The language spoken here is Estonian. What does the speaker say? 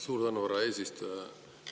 Suur tänu, härra eesistuja!